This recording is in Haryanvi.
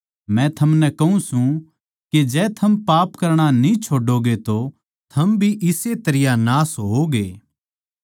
मै थमनै कहूँ सूं के जै थम पाप करणा न्ही छोड़ोगे तो थम भी इस्से तरियां नाश होओगे